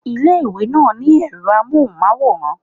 Ilé ìwé náà ní èro amóhùnmáwòrán